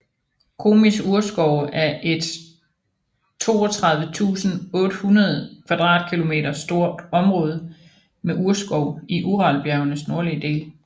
Komis urskove er et 32 800 km² stor område med urskov i Uralbjergenes nordlige del